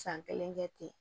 San kelen kɛ ten